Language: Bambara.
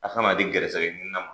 A' kan'a di gɛrɛsɛgɛɲinina ma